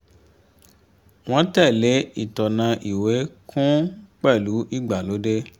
wọ́n tẹ̀lé ìtọná ìwé kún un pẹ̀lú ìgbàlódé